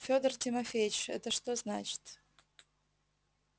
федор тимофеич это что значит